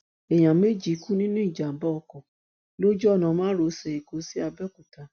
èèyàn méjì kú nínú ìjàmbá ọkọ lójú ọnà márosẹ èkó sí abéòkúta